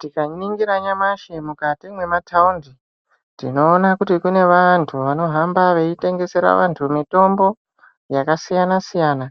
Tikaningira nyamashi mukati memataundi tinoona kuti mune vantu anohamba vaitengesera vantu mitombo yakasiyana-siyana.